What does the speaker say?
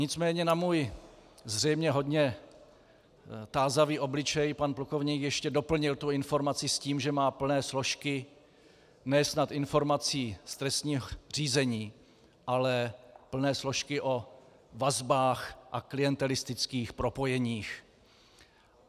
Nicméně na můj zřejmě hodně tázavý obličej pan plukovník ještě doplnil tu informaci s tím, že má plné složky ne snad informací z trestního řízení, ale plné složky o vazbách a klientelistických propojeních.